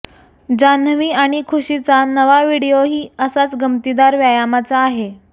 जान्हवी आणि खुशीचा नवा व्हिडिओही असाच गमतीदार व्यायामाचा आहे